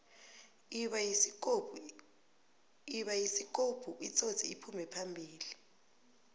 ibayisikopu itsotsi iphume phambili